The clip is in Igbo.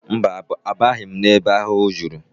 Mba, abaghị m ebe ahụ ahụhụ juru